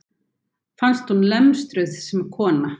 Fannst hún lemstruð sem kona.